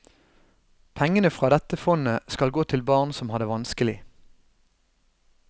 Pengene fra dette fondet skal gå til barn som har det vanskelig.